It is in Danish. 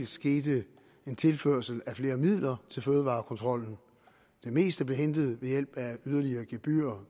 skete en tilførsel af flere midler til fødevarekontrollen det meste blev hentet ved hjælp af yderligere gebyrer